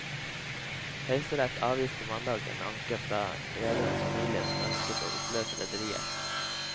Høyesterett avviste mandag en anke fra rederens familie som ønsket å oppløse rederiet.